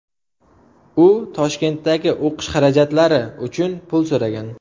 U "Toshkentdagi o‘qish xarajatlari " uchun pul so‘ragan.